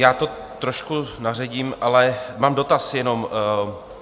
Já to trošku naředím, ale mám dotaz jenom.